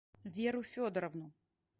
веру федоровну